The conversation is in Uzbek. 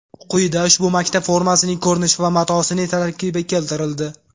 Quyida ushbu maktab formasining ko‘rinishi va matosining tarkibi keltirildi .